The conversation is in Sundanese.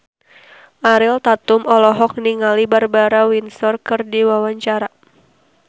Ariel Tatum olohok ningali Barbara Windsor keur diwawancara